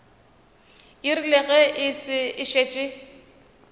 e rile ge e šetše